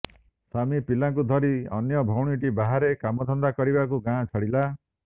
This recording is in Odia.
ସ୍ୱାମୀ ପିଲାଙ୍କୁ ଧରି ଅନ୍ୟ ଭଉଣୀଟି ବାହାରେ କାମଧନ୍ଦା କରିବାକୁ ଗାଁ ଛାଡିଲା